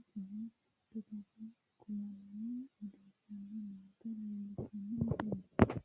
coye dagate kulanninna odeessanni noota leellishshanno misileeti.